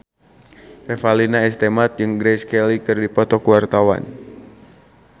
Revalina S. Temat jeung Grace Kelly keur dipoto ku wartawan